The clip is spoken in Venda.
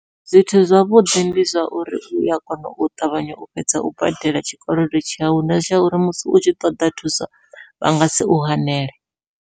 Zwithu zwavhuḓi ndi zwa uri uya kona u ṱavhanya u fhedza u badela tshikolodo tshau na zwa uri musi u tshi ṱoḓa thuso vha ngasi u hanele.